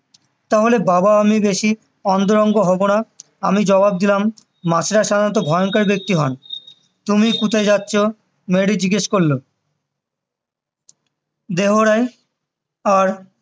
তাহলে বাবা আমি বেশি অন্তরঙ্গ হবো না আমি জবাব দিলাম ভয়ঙ্কর ব্যক্তি হন তুমি কথা যাচ্ছ মেয়েটি জিজ্ঞেস করলো দেহরায় আর